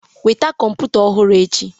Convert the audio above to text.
Weta kọmputa ọhụrụm echi!